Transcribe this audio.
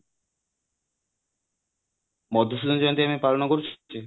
ମଧୁସୂଦନ ଜୟନ୍ତୀ ଆମେ ପାଳନ କରୁଚେ